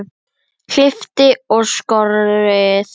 Klippt og skorið.